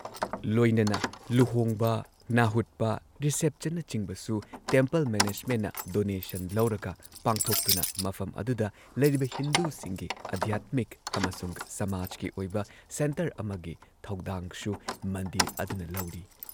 ꯂꯣꯏꯅꯅ ꯂꯨꯍꯣꯡꯕ, ꯅꯥꯍꯨꯠꯄ, ꯔꯤꯁꯦꯞꯁꯟꯅꯆꯤꯡꯕꯁꯨ ꯇꯦꯝꯄꯜ ꯃꯦꯅꯦꯖꯃꯦꯟꯠꯅ ꯗꯣꯅꯦꯁꯟ ꯂꯧꯔꯒ ꯄꯥꯡꯊꯣꯛꯇꯨꯅ ꯃꯐꯝ ꯑꯗꯨꯗ ꯂꯩꯔꯤꯕ ꯍꯤꯟꯗꯨꯁꯤꯡꯒꯤ ꯑꯙ꯭ꯌꯥꯠꯃꯤꯛ ꯑꯃꯁꯨꯡ ꯁꯃꯥꯖꯀꯤ ꯑꯣꯏꯕ ꯁꯦꯟꯇꯔ ꯑꯃꯒꯤ ꯊꯧꯗꯥꯡꯁꯨ ꯃꯟꯗꯤꯔ ꯑꯗꯨꯅ ꯂꯧꯔꯤ ꯫